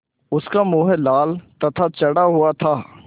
उसका मुँह लाल तथा चढ़ा हुआ था